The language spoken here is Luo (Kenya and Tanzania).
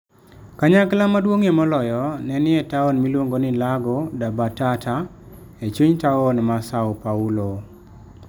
Kanyakla maduong'ie moloyo ne nie taon miluongo ni Largo da Batata, e chuny taon mar Săo Paulo.